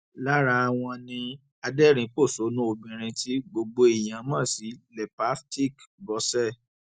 lára wọn ni adẹrìnpọṣónù obìnrin tí gbogbo èèyàn mọ sí lepastic bose